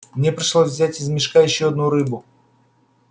мне пришлось взять из мешка ещё одну рыбу